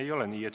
Ei ole nii.